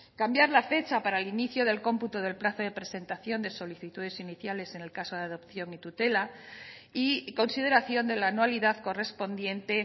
cambiar la fecha para el inicio del cómputo del plazo de presentación de solicitudes iniciales en el caso de adopción y tutela y consideración de la anualidad correspondiente